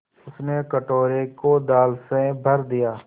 उसने कटोरे को दाल से भर दिया